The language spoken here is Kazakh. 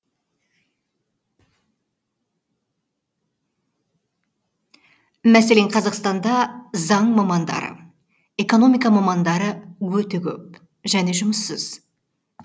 мәселен қазақстанда заң мамандары экономика мамандары өте көп және жұмыссыз